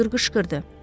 Doktor qışqırdı.